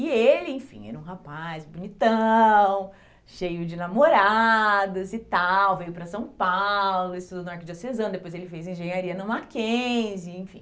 E ele, enfim, era um rapaz bonitão, cheio de namoradas e tal, veio para São Paulo, estudou na Arquidiocesana, depois ele fez Engenharia na Mackenzie, enfim.